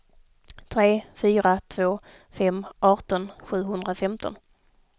tre fyra två fem arton sjuhundrafemton